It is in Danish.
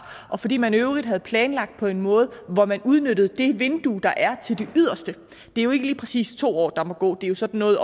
og fordi man i øvrigt havde planlagt på en måde hvor man udnyttede det vindue der er til det yderste det er jo ikke lige præcis to år der må gå det er sådan noget